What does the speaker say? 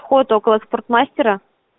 фото около спортмастера